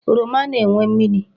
Oroma na-enwe mmiri.